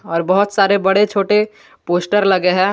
और बहुत सारे बड़े छोटे पोस्टर लगे हैं।